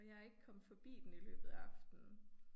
Og jeg ikke kommet forbi den i løbet af aftenen